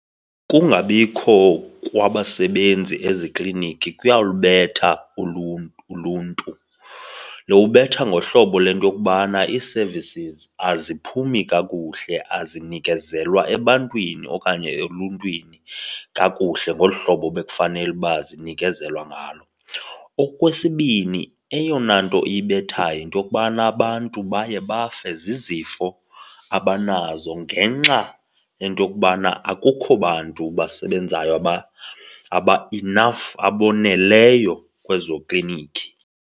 Ukungabikho kwabasebenzi ezikliniki kuya lubetha uluntu. Luwubetha ngohlobo lento okubana ii-services aziphumi kakuhle, azinikezelwa ebantwini okanye eluntwini kakuhle ngolu hlobo bekufanele uba zinikezelwa ngalo. Okwesibini, eyona nto ibethayo yinto yokubana abantu baye bafe zizifo abanazo ngenxa yento yokubana akukho bantu basebenzayo aba-enough, aboneleyo, kwezo klinikhi.